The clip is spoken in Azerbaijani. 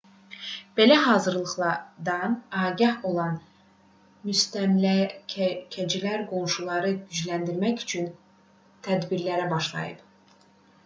belə hazırlıqdan agah olan müstəmləkəçilər qoşunları gücləndirmək üçün tədbirlərə başladılar